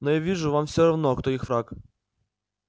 но я вижу вам всё равно кто их враг